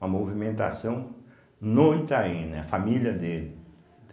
Uma movimentação no Itaim, né, a família dele.